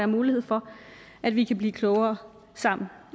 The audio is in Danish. mulighed for at vi kan blive klogere sammen